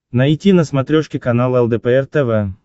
найти на смотрешке канал лдпр тв